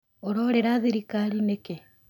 ũrorĩra thirikari nĩkĩ